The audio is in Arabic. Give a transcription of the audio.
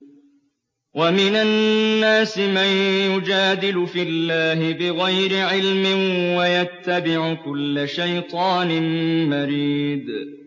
وَمِنَ النَّاسِ مَن يُجَادِلُ فِي اللَّهِ بِغَيْرِ عِلْمٍ وَيَتَّبِعُ كُلَّ شَيْطَانٍ مَّرِيدٍ